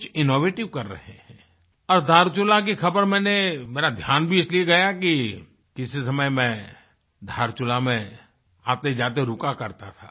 कुछInnovative कर रहें हैं धारचुला खबर मैंने मेरा ध्यान भी इसलिए गया कि किसी समयमैं धारचूला में आतेजाते रुका करता था